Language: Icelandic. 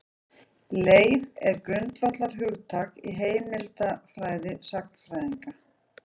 Leif er grundvallarhugtak í heimildafræði sagnfræðinga.